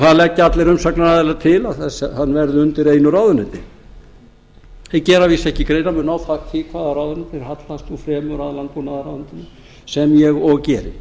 það leggja allir umsagnaraðilar til að það verði undir einu ráðuneyti þeir gera að vísu ekki greinarmun á því hvaða ráðuneyti þeir hallast nú fremur að landbúnaðarráðuneytinu sem ég og geri